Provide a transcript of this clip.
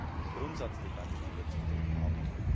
Es ist eine Grundsatzdebatte, die wir zu führen haben.